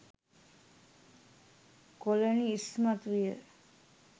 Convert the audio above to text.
colony ඉස්මතු විය